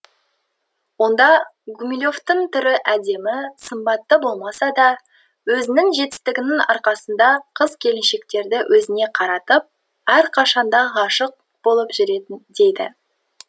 онда гумилевтің түрі әдемі сымбатты болмаса да өзінің жетістігінің арқасында қыз келіншектерді өзіне қаратып әрқашанда ғашық болып жүретін дейді